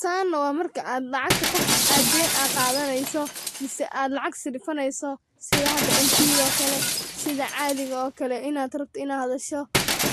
San waa marka qofka lacag oo deen ad qadaneyso mise lacag saraifaneyso sida hada mbda oo kale sida caadiga oo kale inad rabtid inad hadasho